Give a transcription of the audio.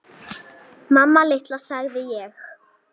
Mamma litla, sagði ég.